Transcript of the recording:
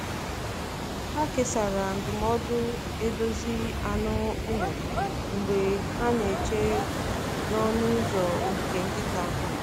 Ha kesara ndụmọdụ edozi anụ ụlọ mgbe ha na-eche n’ọnụ ụzọ ogige nkịta.